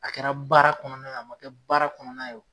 A kɛra baara kɔnɔna na, a ma kɛ baara kɔnɔna ye o